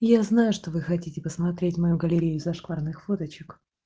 я знаю что вы хотите посмотреть мою галерею зашкварных фоточек